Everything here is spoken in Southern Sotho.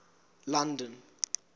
london